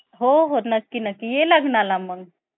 हम्म